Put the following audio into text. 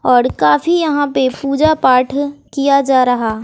और काफी यहां पे पूजा पाठ है किया जा रहा।